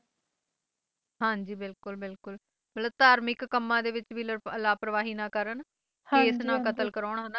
ਹਾਂ ਜੀ ਬਿਲਕੁਲ ਬਿਲਕੁਲ ਮਤਲਬ ਧਾਰਮਿਕ ਕੰਮ ਦੇ ਵਿੱਚ ਵੀ ਲਾਪਰਵਾਹੀ ਨਾਂ ਕਰਨ ਕੇਸ਼ ਨਾ ਕਤਲ ਕਰਾਉਣ